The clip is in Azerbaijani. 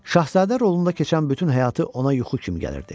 Şahzadə rolunda keçən bütün həyatı ona yuxu kimi gəlirdi.